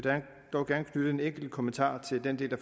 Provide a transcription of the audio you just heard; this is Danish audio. dog gerne knytte en enkelt kommentar til den del af